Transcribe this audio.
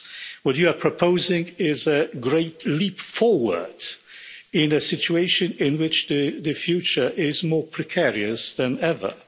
What you are proposing is a great leap forward in a situation in which the future is more precarious than ever.